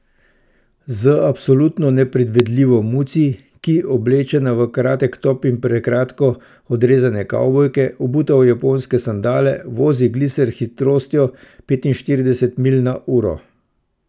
Z absolutno nepredvidljivo Muci, ki, oblečena v kratek top in prekratko odrezane kavbojke, obuta v japonske sandale, vozi gliser s hitrostjo petinštirideset milj na uro!